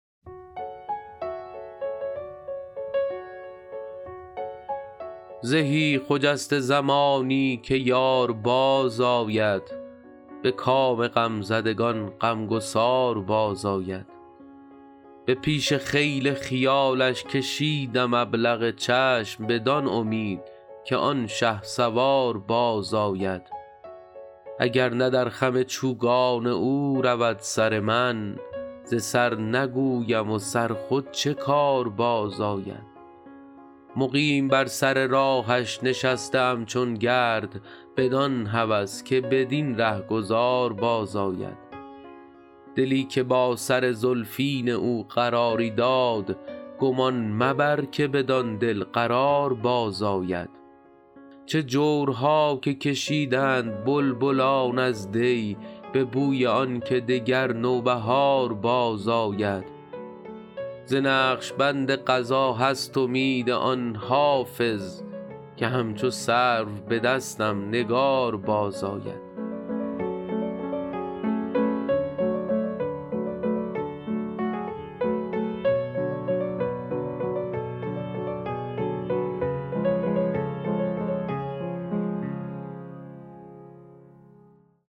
زهی خجسته زمانی که یار بازآید به کام غمزدگان غمگسار بازآید به پیش خیل خیالش کشیدم ابلق چشم بدان امید که آن شهسوار بازآید اگر نه در خم چوگان او رود سر من ز سر نگویم و سر خود چه کار بازآید مقیم بر سر راهش نشسته ام چون گرد بدان هوس که بدین رهگذار بازآید دلی که با سر زلفین او قراری داد گمان مبر که بدان دل قرار بازآید چه جورها که کشیدند بلبلان از دی به بوی آن که دگر نوبهار بازآید ز نقش بند قضا هست امید آن حافظ که همچو سرو به دستم نگار بازآید